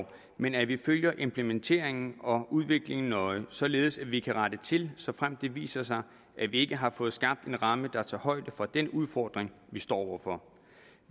men at vi følger implementeringen og udviklingen nøje således at vi kan rette til såfremt det viser sig at vi ikke har fået skabt en ramme der tager højde for den udfordring vi står over for